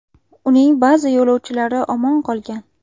Uning ba’zi yo‘lovchilari omon qolgan.